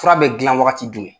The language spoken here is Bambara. Fura bɛ gilan wagati jumɛn?